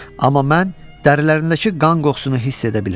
Amma mən dərilərindəki qan qoxusunu hiss edə bilirdim.